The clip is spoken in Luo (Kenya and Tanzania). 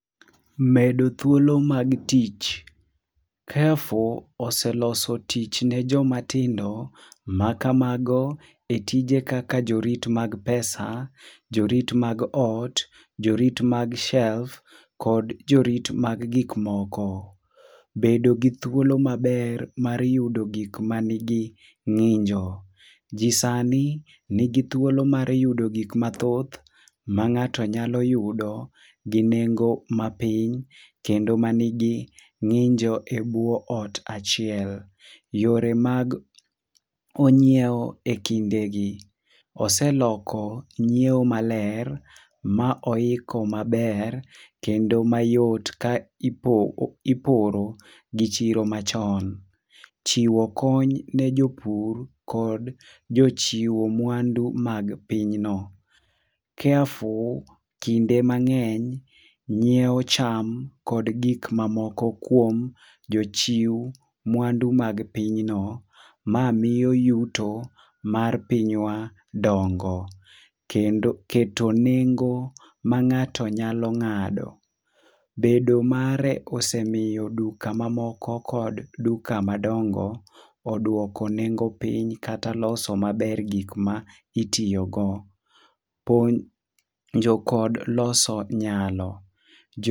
Medo thuolo mag tich: Carrefour oseloso tich ne joma tindo ma kamago e tije kaka jorit mag pesa, jorit mag ot, jorit mag shelf, jkod orit mag gikmoko. Bedo gi thuolo maber mar yudo gik ma nigi ng'injo: ji sani nigi thuolo mar yudo gik mathoth ma ng'ato nyalo yudo gi nengo mapiny kendo ma nigi ng'injo e bwo ot achiel. Yore mag onyieo e kinde gi: oseloko nyiewo maber, ma oiko maber kendo mayot ka iporo gi chiro machon. Chiwo kony ne jopur kod jochiwo mwandu mag pinyno. Carrefour, kinde mang'eny nyiewo cham kod gik mamoko kuom jochiw mwandu mag piny no. Ma miyo yuto mar pinywa dongo. Kendo, keto nengo ma ng'ato nyalo ng'ado: bedo mare osebedo duka mamoko kod duka madongo odwoko nengo piny kata loso maber gikma itiyogo. Ponjo kod loso nyalo: jo